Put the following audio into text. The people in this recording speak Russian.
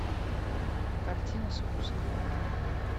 картина спуск